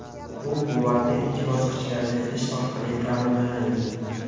Bu quvvatni ikki bosqichga ajratish orqali ta’minlanadi.